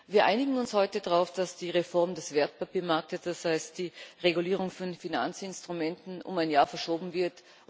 Wir einigen uns heute darauf, dass die Reform des Wertpapiermarktes, das heißt die Regulierung von Finanzinstrumenten, um ein Jahr verschoben wird.